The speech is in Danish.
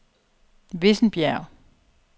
Vissenbjerg